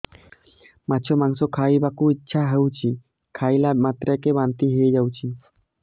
ମାଛ ମାଂସ ଖାଇ ବାକୁ ଇଚ୍ଛା ହଉଛି ଖାଇଲା ମାତ୍ରକେ ବାନ୍ତି ହେଇଯାଉଛି